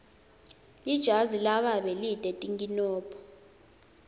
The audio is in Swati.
lijazi lababe lite tinkinombo